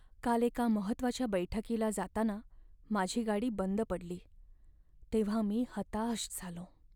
काल एका महत्त्वाच्या बैठकीला जाताना माझी गाडी बंद पडली तेव्हा मी हताश झालो.